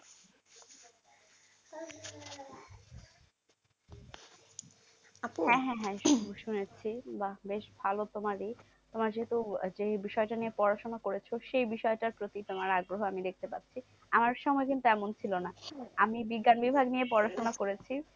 বাহ বেশ ভালো তোমার এ। তোমার যেহেতু যে বিষয়টা নিয়ে পড়াশোনা করেছো, সেই বিষয়টার প্রতি তোমার আগ্রহ আমি দেখতে পাচ্ছি। আমার সময় কিন্তু এমন ছিল না। আমি বিজ্ঞান বিভাগ নিয়ে পড়াশোনা করেছি